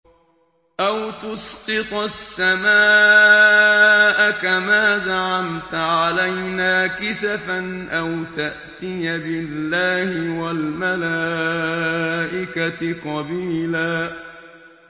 أَوْ تُسْقِطَ السَّمَاءَ كَمَا زَعَمْتَ عَلَيْنَا كِسَفًا أَوْ تَأْتِيَ بِاللَّهِ وَالْمَلَائِكَةِ قَبِيلًا